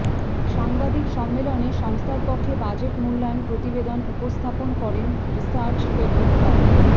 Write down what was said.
সাংবাদিক সম্মেলনে সংস্থার পক্ষে বাজেট মূল্যায়ন প্রতিবেদন উপস্থাপন করেন রিসার্চ ফেলো ড